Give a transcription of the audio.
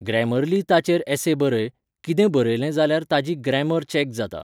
Grammarly ताचेर ऍसे बरय, कितें बरयलें जाल्यार ताची ग्रॅमर चॅक जाता.